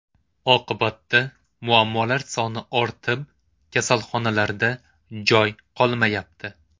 Oqibatda muammolar soni ortib, kasalxonalarda joy qolmayapti.